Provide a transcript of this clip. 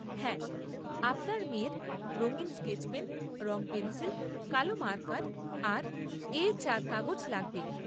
হ্যাঁ, আপনার মেয়ের রঙিন স্কেচ পেন, রং পেন্সিল, কালো মার্কার আর এ চার কাগজ লাগবে।